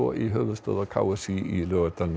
í höfuðstöðvar k s í í Laugardalnum